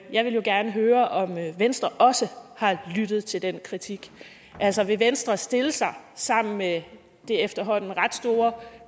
jeg vil jo gerne høre om venstre også har lyttet til den kritik altså vil venstre stille sig sammen med det efterhånden ret store